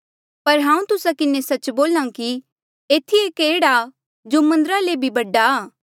पर हांऊँ तुस्सा किन्हें सच्च बोल्हा कि एथी एक एह्ड़ा जो मन्दरा ले भी बडा आ